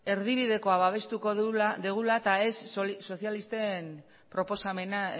erdibidekoa babestuko dugula eta ez sozialisten proposamena